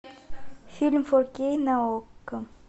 фильм фо кей на окко